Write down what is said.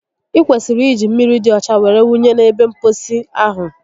i kwesịrị iji mmiri di ọcha were wunye n'ebe mposi ahụ